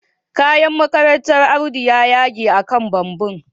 Kayan makarantar Audu ya yage akan bumbum